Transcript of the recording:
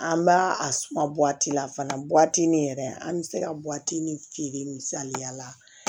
An b'a a suma la fana yɛrɛ an bɛ se ka ni feere misaliya la